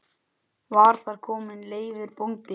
Var þar kominn Leifur bóndi.